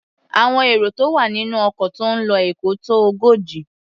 Àwọn èrò tó wà nínú ọkọ̀ tó ń lo Èkó tó ogójì.